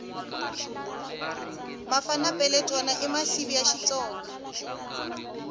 mafana peletwana i masivi ya xitsonga